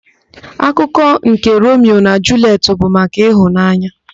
Akụkọ nke Romio na Julietị bụ maka ịhụnanya.